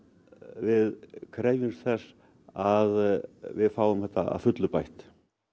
við krefjumst þess að við fáum þetta að fullu bætt